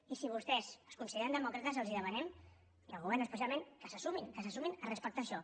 i si vostès es consideren demòcrates els demanem i al govern especialment que se sumin que se sumin a respectar això